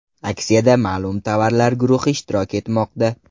Aksiyada ma’lum tovarlar guruhi ishtirok etmoqda.